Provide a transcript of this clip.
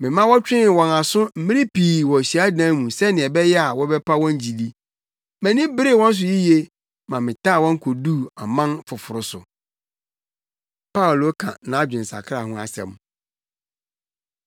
Mema wɔtwee wɔn aso mmere pii wɔ hyiadan mu sɛnea ɛbɛyɛ a wɔbɛpa wɔn gyidi. Mʼani beree wɔn so yiye ma metaa wɔn koduu aman afoforo so.” Paulo Ka Nʼadwensakra Ho Asɛm